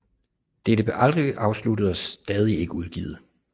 Dette blev aldrig afsluttet og er stadig ikke udgivet